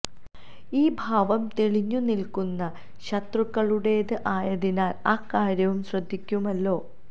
ഈ ഭാവം തെളിഞ്ഞു നില്ക്കുന്ന ശത്രുക്കളുടേത് ആയതിനാൽ ആ കാര്യവും ശ്രദ്ധിക്കുമല്ലോ